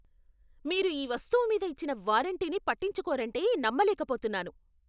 మీరు ఈ వస్తువు మీద ఇచ్చిన వారంటీని పట్టించుకోరంటే నమ్మలేకపోతున్నాను.